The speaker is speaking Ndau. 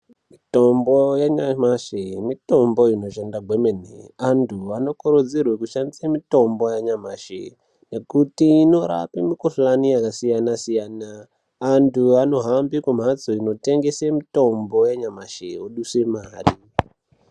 Mitombo yanyamashe, mitombo inoshanda hwemene. Antu vanokurudzirwe kushandise mitombo yanyamashe nekuti inorape mikhuhlani yakasiyana siyana. Antu anohambe kumhatso inotengese mitombo yanyamashe oduse mari.